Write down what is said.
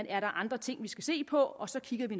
er andre ting vi skal se på og så kigger vi